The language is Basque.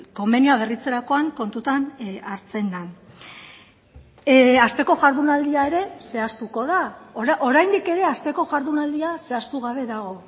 konbenioa berritzerakoan kontutan hartzen den asteko jardunaldia ere zehaztuko da oraindik ere asteko jardunaldia zehaztu gabe dago